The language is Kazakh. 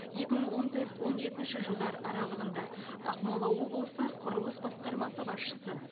екі мың он төрт он жетінші жылдар аралығында ақмола облысы құрылыс басқармасы басшысы